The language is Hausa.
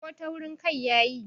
ko taurin Kai ya yi?